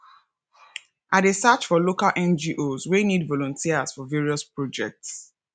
i dey search for local ngos wey need volunteers for various projects